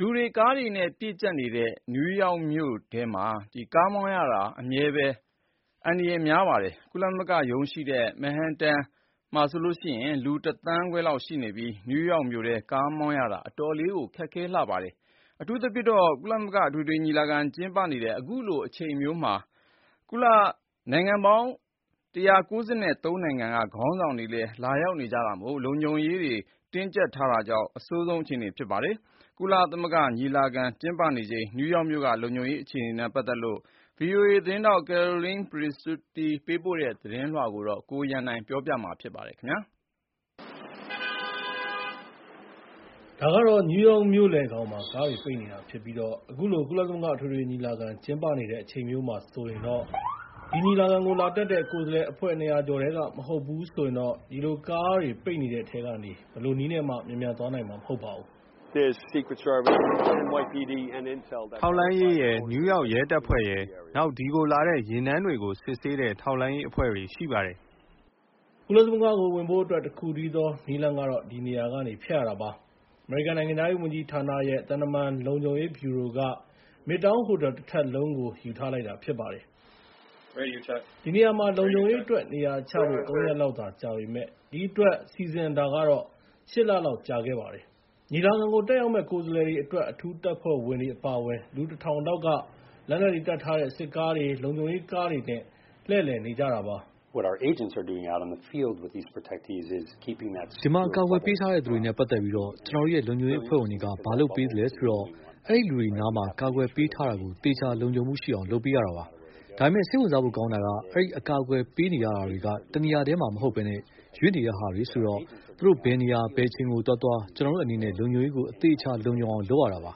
လူတွေ၊ ကားတွေ အမြဲပြည့်နေပြီးတော့ ၊ နယူးယောက်မှာ ကားမောင်းရတာဟာ အမြဲတမ်း အန္တရာယ်များပါတယ်။ ကုလသမဂ္ဂရုံးရှိတဲ့ Manhattan မှာ လူ ၁ သန်းခွဲရှိပြီး၊နယူးယောက်မြို့ထဲမှာ ကားမောင်းရတာ တခါတရံမှာ အတော်လည်းခက်ခဲပါတယ်။ အထူးသဖြင့် ကုလသမဂ္ဂအထွေထွေညီလာခံကျင်းပနေတဲ့ စက်တင်ဘာလထဲမှာဆိုရင် ကမ္ဘာနိုင်ငံပေါင်း ၁၉၃ နိုင်ငံက ခေါင်းဆောင်တွေ အတွက် လုံခြုံရေးတွေတင်းကြပ်ထားတာကြောင့် အဆိုးဆုံးဖြစ်ပါတယ်။ ကုလသမဂ္ဂအထွေထွေညီလာခံကျင်းပနေချိန် နယူးယောက်မြို့က လုံခြုံရေး အခြေအနေတွေနဲ့ အဲဒီသွားလာရတဲ့ အခြေအနေတွေနဲ့ ပတ်သက်ပြီး ဗီအိုအေ အကြီးတန်းသတင်းထောက် Carolyn Presutti သတင်းပေးပို့ထားတာကို ကိုရန်နိုင်က ပြောပြပေးမှာဖြစ်ပါတယ်။ ဒါကတော့ နယူးယောက်မြို့လယ်ခေါင်မှာ ကားတွေပိတ်နေတာဖြစ်ပြီး၊ အခုလို ကုလသမဂ္ဂ အထွေထွေညီလာခံ ကျင်းပနေတဲ့ အချိန်မျိုးမှာ ဆိုရင်တော့ ဒီညီလာခံကို လာတက်တဲ့ ကိုယ်စားလှယ်အဖွဲ့ ၂၀၀ ကျော်ထဲက မဟုတ်ဘူးဆိုရင်တော့ ဒီလို ကားတွေပိတ်နေတဲ့အထဲက နေ ဘယ်လိုနည်းနဲ့မှ မြန်မြန်သွားနိုင်မှာ မဟုတ်ပါဘူး။ " ထောက်လှမ်းရေးရယ်၊ နယူးယောက်ရဲတပ်ဖွဲ့ရယ်၊ နောက် ဒီကိုလာတဲ့ ယာဉ်တန်းတွေကို စစ်ဆေးတဲ့ ထောက်လှမ်းရေး အဖွဲ့တွေရှိပါတယ်" ကုလသမဂ္ဂကို ဝင်ဖို့အတွက် တခုတည်းသောနည်းလမ်းကတော့ ဒီနေရာကနေဖြတ်ရတာပါ။ အမေရိကန်နိုင်ငံခြားရေးဝန်ကြီးဌာနရဲ့ သံတမန် လုံခြုံရေးဗြူရိုက Midtown ဟိုတယ်တထပ်လုံးကို ယူထားလိုက်တာဖြစ်ပါတယ်။ ဒီနေရာမှာ လုံခြုံရေးနေရာချဖို့ ၃ ရက်လောက်သာ ကြာပေမယ့်၊ ဒီအတွက် စီစဉ်တာက ၈ လ လောက် ကြာခဲ့ပါတယ်။ ညီလာခံကို တက်ရောက်မယ့်ကိုယ်စားလှယ်တွေအတွက် အထူးတပ်ဖွဲ့ဝင်တွေ အပါအဝင် လူ ၁ ထောင်လောက်က လက်နက်တွေတပ်ထား တဲ့ စစ်ကားတွေ၊ လုံခြုံရေးကားတွေနဲ့ လှည့်လည်နေကြပါတယ်။ ဒီမှာ အကာအကွယ်ပေးထားတဲ့သူတွေနဲ့ ပတ်သက်ပြီး ကျနော်တို့ရဲ့ လုံခြုံရေးအဖွဲ့ဝင်တွေက ဘာလုပ်ပေးသလဲဆိုတော့ ၊ အဲဒီလူတွေနားမှာ ကာကွယ်ပေးထားတာကို သေချာလုံခြုံမှုရှိအောင်လုပ်ပေးရတာပါ။ ဒါပေမဲ့ စိတ်ဝင်စားဖို့ ကောင်းတာက အဲဒီအကာအကွယ် ပေးနေရတာတွေက တနေရာတည်းမှာမဟုတ်ဘဲ ရွှေ့နေတဲ့ဟာတွေဆိုတော့၊ သူတို့ဘယ်နေရာ ဘယ်အချိန်ကိုသွားသွား ကျနော်တို့အနေနဲ့ လုံခြုံရေးကိုသေချာ လုံခြုံအောင်လုပ်ရတာပါ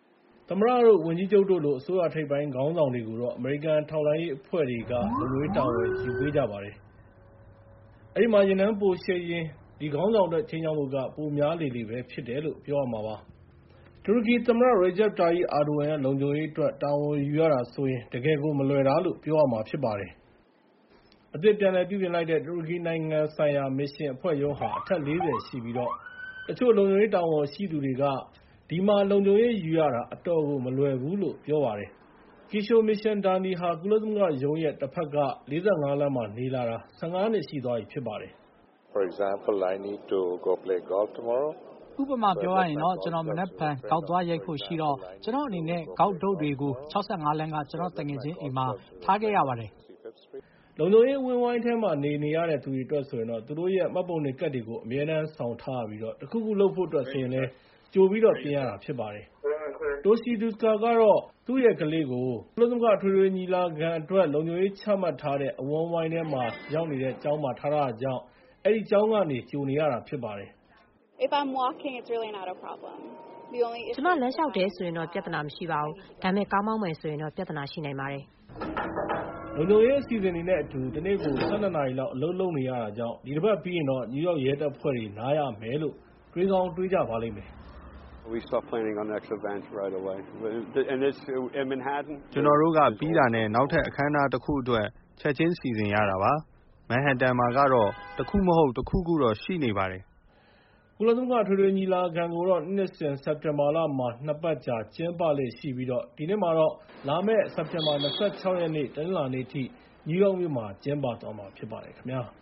။ သမ္မတတို့ ဝန်ကြီးချုပ်တို့လို အစိုးရ ထိပ်ပိုင်းခေါင်းဆောင်တွေကိုတော့ အမေရိကန်ထောက်လှမ်းရေးအဖွဲ့တွေက လုံခြုံရေးတာဝန်ယူ ပေးကြပါတယ်။ အဲဒီမှာ ယာဉ်တန်းပိုရှည်ရင် အဲဒီခေါင်းဆောင်အတွက် ခြိမ်းခြောက်မှုက ပိုများလေလေပဲ ဖြစ်တယ်လို့ ပြောရမှာပါ။ တူရကီဝန်ကြီးချုပ် Recep Tayip Erdogan ရဲ့ လုံခြုံရေးအတွက် တာဝန်ယူရတာဆိုရင် ၊ တကယ်ကို မလွယ်တာလို့ ပြောရမှာဖြစ်ပါတယ်။ အသစ်ပြန်လည်ပြုပြင်လိုက်တဲ့ တူရကီနိုင်ငံဆိုင်ရာမစ်ရှစ်အဖွဲ့ရုံးဟာ အထပ် ၄၀ ရှိပြီး တချို့လုံခြုံရေးတာဝန်ရှိသူတွေကတော့ ဒီမှာ လုံခြုံရေးယူရတာ အတော်ကို မလွယ်ဘူးလို့ ပြောပါတယ်။ ဥပမာပြောရရင်တော့ ကျနော်မနက်ဖြန် ဂေါက်သီးသွားရိုက်ဖို့ရှိတော့ ကျနော်အနေနဲ့ ဂေါက်တုတ်တွေကို ၆၅ လမ်းက ကျနော်သူငယ်ချင်းအိမ်မှာ ထားခဲ့ရတယ်။ လုံခြုံရေးအဝန်းအဝိုင်းထဲမှာ နေနေရတဲ့သူတွေအတွက်ဆိုရင် သူတို့ရဲ့ မှတ်ပုံတင်ကတ်တွေကို အမြဲတမ်းဆောင်ထားရမှာပြီး တခုခုလုပ်ဖို့အတွက်ဆိုရင်လည်း ကြိုပြီးတော့ ပြင်ရတာဖြစ်ပါတယ်။ Toshie Deuskar ဟာ သူရဲ့ ကလေးကို လုံခြုံရေးအဝန်းအဝိုင်းထဲမှာ ရောက်နေတဲ့ ကျောင်းကနေ ကြိုနေရတာဖြစ်ပါတယ်။ ကျမလမ်းလျှောက်တယ်ဆိုရင်တော့ ပြသနာမရှိပါဘူး။ ဒါပေမဲ့ ကားမောင်းမယ်ဆိုရင်တော့ ပြသနာရှိနိုင်ပါတယ်။ လုံခြုံရေး အစီအစဉ်တွေ နဲ့အတူ တနေ့ကို ၁၂ နာရီ အလုပ်လုပ်ကြရတာကြောင့် ဒီတပတ်ပြီးရင်တော့ နယူးယောက်ရဲတပ်ဖွဲ့တွေ နားရမယ်လို့ တွေးကောင်းတွေးမိပါလိမ့်မယ်။ ကျနော်တို့က ပြီးတာနဲ့ နောက်ထပ်အခမ်းအနားတခုအတွက် ချက်ချင်းစီစဉ်ရတာပါ။ Manhattan မှာကတော့ တခုမဟုတ်တခုတော့ ရှိနေပါတယ်။ ကုလသမဂ္ဂအထွေထွေညီလာခံကိုတော့ လာမယ့် စက်တင်ဘာ ၂၆ ရက် တနင်္လာနေ့ အထိ နယူးယောက်မြို့မှာ ကျင်းပသွားမှာ ဖြစ်ပါတယ်ခင်ဗျာ။